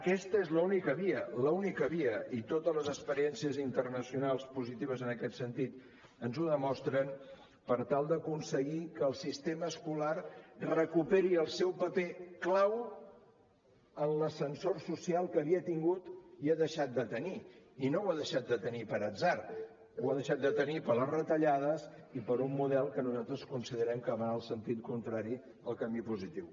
aquesta és l’única via l’única via i totes les experiències internacionals positives en aquest sentit ens ho demostren per tal d’aconseguir que el sistema escolar recuperi el seu paper clau en l’ascensor social que havia tingut i ha deixat de tenir i no l’ha deixat de tenir per atzar l’ha deixat de tenir per les retallades i per un model que nosaltres considerem que va en el sentit contrari al camí positiu